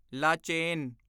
Lachen